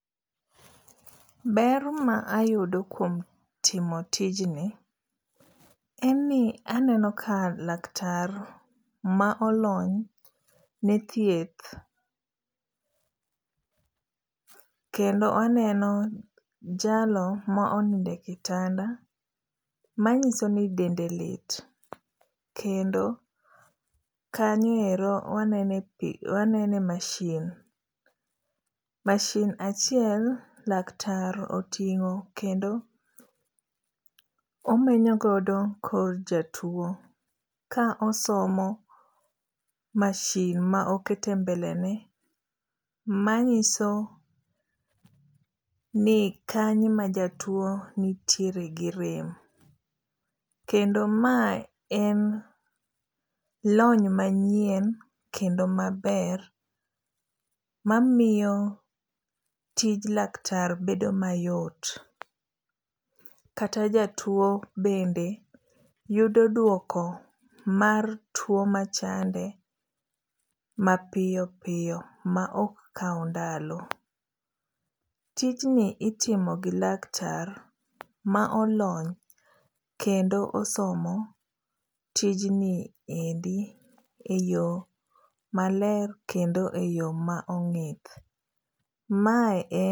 Ber ma ayudo kuom timo tijni en ni aneno ka laktar ma olony ne thieth kendo aneno jalo ma onindo e kitanda manyiso ni dende lit, kendo kanyo ero wanene pich wanene masin. Masin achiel laktar oting'o kendo oneno godo kor jatuo ka osomo godo masin ma oketo e mbele ne manyiso ni kanyo ema jatuo nitiere gi rem kendo mae en lony manyien kendo maber mamiyo tij laktar bedo mayot kata jatuo bende yudo duoko mar tuo machande mapiyo piyo maok kaw ndalo. Tijni itimo gi laktar ma olony kendo osomo tijni endi eyo maler kendo eyo ma ong'ith. Mae e